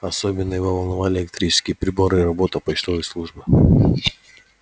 особенно его волновали электрические приборы и работа почтовой службы